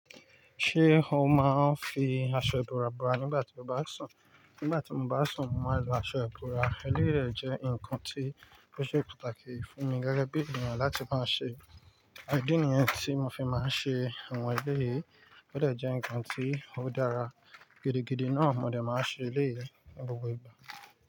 Ṣé o máa ń fi aṣọ ìbora bora nígbà tí o bá sùn? Nígbà tí mo bá sùn, màá lo aṣọ ìbora. Eleyi jẹ́ nǹkan tí ó ṣe pàtàkì fún mi gẹ́gẹ́ bí ènìyàn láti máa ṣe. Ìdí nìyẹn tí mo fi máa ń ṣe àwọn ẹlẹ́yii, ó dà jẹ́ nǹkan tí ó dára gidigidi náà mo lè máa ṣe eléyii ni gbogbo igba.